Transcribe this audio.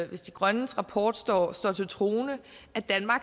hvis de grønnes rapport står står til troende